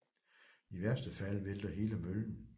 I værste fald vælter hele møllen